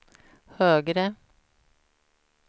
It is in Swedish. högre